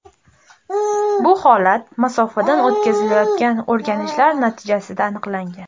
Bu holat masofadan o‘tkazilayotgan o‘rganishlar natijasida aniqlangan.